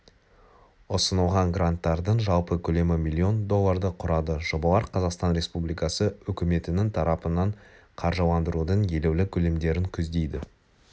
ұсынылған гранттардың жалпы көлемі миллион долларды құрады жобалар қазақстан республикассы үкіметінің тарапынан қаржыландырудың елеулі көлемдерін көздейді